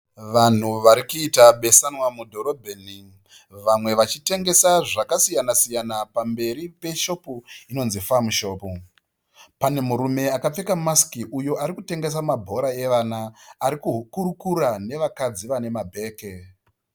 Vanhu vari kuita besanwa mudhorobheni vamwe vachitengesa zvakasiyanasiyana pamberi peshopu inonzi "Farm Shop". Pane murume akapfeka masiki uyo ari kutengesa mabhora evana ari kuhukurukura navakadzi vane mabhege.